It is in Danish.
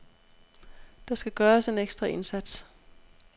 Der skal gøres en ekstra indsats.